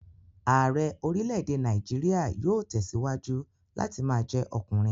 Ààrẹ́ orílè-èdè Nàìjíríà yóò tẹ̀síwájú láti ma jẹ́ ọkùnrin